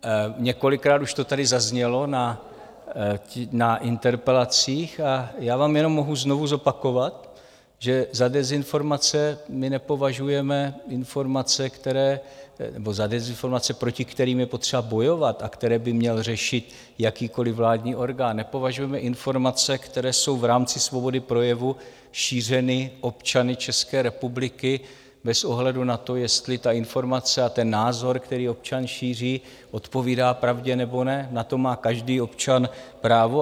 Několikrát už to tady zaznělo na interpelacích a já vám jenom mohu znovu zopakovat, že za dezinformace my nepovažujeme informace, které... nebo za dezinformace, proti kterým je potřeba bojovat a které by měl řešit jakýkoliv vládní orgán, nepovažujeme informace, které jsou v rámci svobody projevu šířeny občany České republiky bez ohledu na to, jestli ta informace a ten názor, který občan šíří, odpovídá pravdě nebo ne, na to má každý občan právo.